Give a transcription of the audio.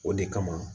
O de kama